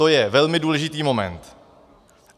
To je velmi důležitý moment.